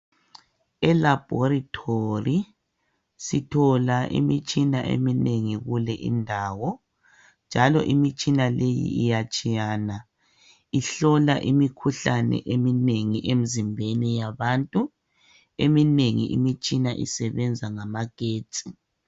E"Laboratory " sithola imitshina eminengi kule indawo njalo imitshina leyi iyatshiyana ihlola imikhuhlane eminengi emizimbeni yabantu, eminengi imitshina isebenza ngamagetsi.